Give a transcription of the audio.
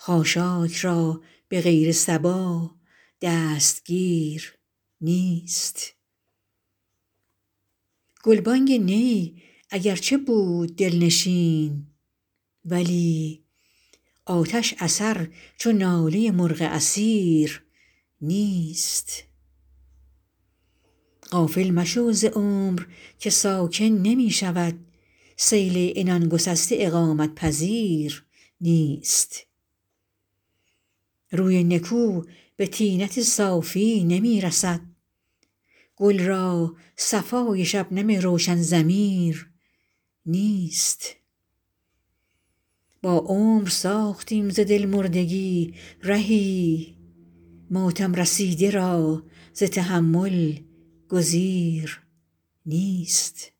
خاشاک را به غیر صبا دستگیر نیست گلبانگ نی اگرچه بود دل نشین ولی آتش اثر چو ناله مرغ اسیر نیست غافل مشو ز عمر که ساکن نمی شود سیل عنان گسسته اقامت پذیر نیست روی نکو به طینت ساقی نمی رسد گل را صفای شبنم روشن ضمیر نیست با عمر ساختیم ز دل مردگی رهی ماتم رسیده را ز تحمل گزیر نیست